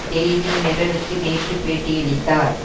daily மிரருக்கு நேற்று பேட்டியளித்தார்